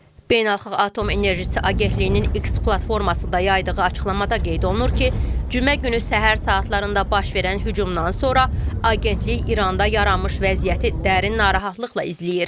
Beynəlxalq Atom Enerjisi Agentliyinin X platformasında yaydığı açıqlamada qeyd olunur ki, cümə günü səhər saatlarında baş verən hücumdan sonra Agentlik İranda yaranmış vəziyyəti dərin narahatlıqla izləyir.